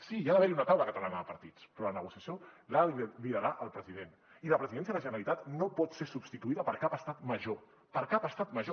sí hi ha d’haver hi una taula catalana de partits però la negociació l’ha de liderar el president i la presidència de la generalitat no pot ser substituïda per cap estat major